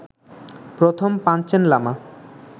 প্রথম পাঞ্চেন লামা